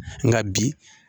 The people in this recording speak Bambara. Nka bi